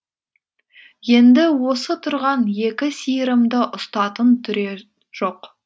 енді осы тұрған екі сиырымды ұстатын түрер жоқ